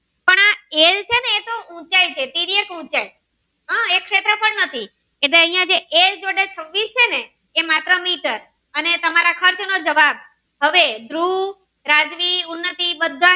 ઉંચાઈ છે તિર્યક ઉંચાઈ આ એક શેત્રફ્ળ નથી એટલે અન્ય જે એ જોડે છવ્વીસ છેને એ માત્ર મીટર અને તમારા ખર્ચ નો જવાબ ધ્રુવ રાજવી ઉન્નટી બધા.